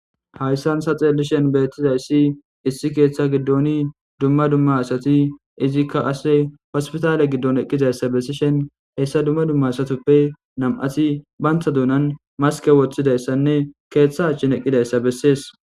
Hayssansa xeellishen beettizayssi issi keeththa giddoni dumma dumma asati izikka asse hospitaale giddon eqqizayssa bessishen hessa dumma dumma asatoppe nam'ati bantha duunan maske woththidayssanne keeththa achchin eqqidayssa bessees.